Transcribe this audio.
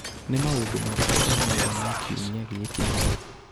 Nĩ maũndũ marĩkũ o mothe ma kiumia gĩkĩ?